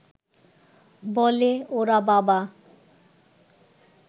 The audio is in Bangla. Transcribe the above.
বলে–ওরে বাবা